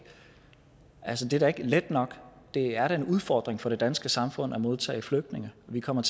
altså det er da ikke let nok det er da en udfordring for det danske samfund at modtage flygtninge vi kommer